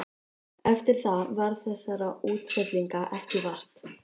Eftir það varð þessara útfellinga ekki vart.